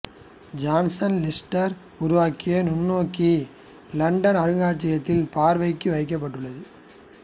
Jackson Lister உருவாக்கிய நுண்ணோக்கி London அருங்காட்சியகத்தில் பார்வைக்கு வைக்கப்பட்டுள்ளது